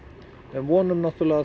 en vonum